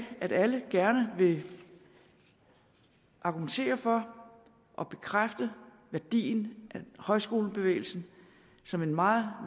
at alle gerne vil argumentere for og bekræfte værdien af højskolebevægelsen som en meget